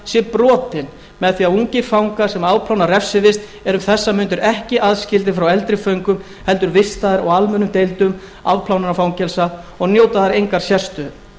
sé brotinn með því að ungir dagur sem afplána refsivist eru um þessar mundir ekki aðskildir frá eldri föngum heldur vistaðir á almennum deildum afplánunarfangelsa og njóta þar engrar sérstöðu